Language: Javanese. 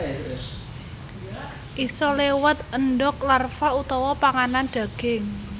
Isa léwat endog larva utawa panganan daging